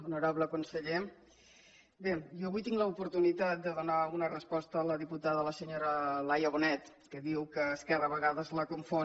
honorable conseller bé jo avui tinc l’oportunitat de donar una resposta a la diputada a la senyora laia bonet que diu que esquerra a vegades la confon